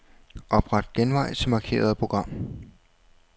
Opret genvej til markerede program.